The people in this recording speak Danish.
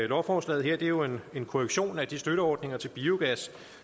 lovforslaget her er jo en korrektion af de støtteordninger til biogas